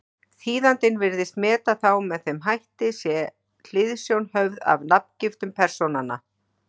Þýðandinn virðist meta þá með þeim hætti, sé hliðsjón höfð af nafngiftum persónanna.